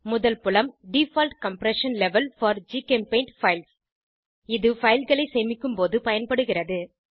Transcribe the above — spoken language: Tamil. முதல் புலம் டிஃபால்ட் கம்ப்ரஷன் லெவல் போர் ஜிசெம்பெயிண்ட் பைல்ஸ் fileகளை சேமிக்கும்போது பயன்படுகிறது